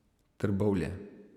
Trbovlje.